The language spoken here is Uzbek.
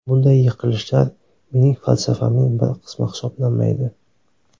Bunday yiqilishlar mening falsafamning bir qismi hisoblanmaydi.